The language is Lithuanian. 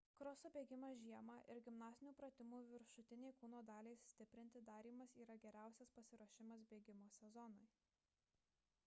kroso bėgimas žiemą ir gimnastinių pratimų viršutinei kūno daliai stiprinti darymas yra geriausias pasiruošimas bėgimo sezonui